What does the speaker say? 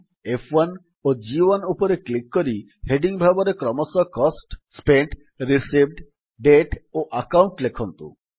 F1 ଓ ଜି1 ଉପରେ କ୍ଲିକ୍ କରି ହେଡିଙ୍ଗ୍ ଭାବରେ କ୍ରମଶଃ କୋଷ୍ଟ ସ୍ପେଣ୍ଟ ରିସିଭ୍ଡ ଦାତେ ଓ ଆକାଉଣ୍ଟ ଲେଖନ୍ତୁ